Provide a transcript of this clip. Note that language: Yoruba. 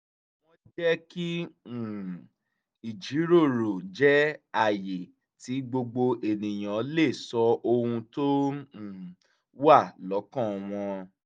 wọ́n jẹ́ kí um ìjíròrò jẹ́ àyè tí gbogbo ènìyàn lè sọ ohun tó um wà lọ́kàn wọn